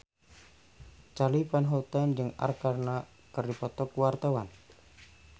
Charly Van Houten jeung Arkarna keur dipoto ku wartawan